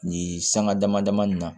Nin sanga dama dama ni na